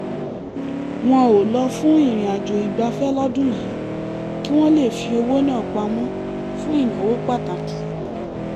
wọn ò lọ fún ìrìnàjò ìgbafẹ́ lọ́dún yìí kí wọ́n lè fi owó náà pamọ́ fún ìnáwó pàtàkì